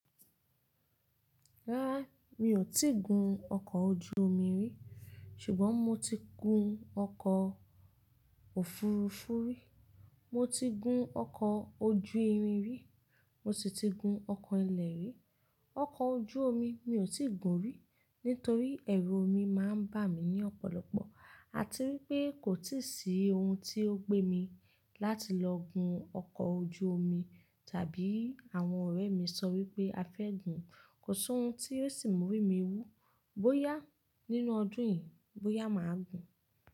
Rárá mi ò tíì gun ọkọ̀ ojú omi rí, ṣùgbọ́n mo ti gun ọkọ̀ òfurufú rí, mo ti gun ọkọ̀ ojú irin rí, mo sì ti gun ọkọ̀ ilẹ̀ rí. Ọkọ̀ ojú omi mi ò tíì gun rí, nítorí ẹrù omi máa ń bà mí ní ọ̀pọ̀lọpọ̀. A ti wípé kò i tíì sí ohun tí ó gbé mi láti lọ gun ọkọ̀ ojú omi, tàbí àwọn ọ̀rẹ́ mi sọ wípé afẹ́ gun. Kò sí ohun tí yóò sì mú orí mi wú. Bóyá nínú ọdún yìí, bóyá màá gun.